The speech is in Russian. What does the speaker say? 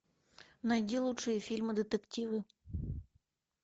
найди лучшие фильмы детективы